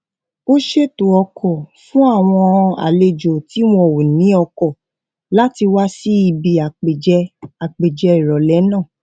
ó ṣètò ọkò fún àwọn àlejò tí wón ò ní ọkò láti wá síbi àpèjẹ àpèjẹ ìrọlẹ náà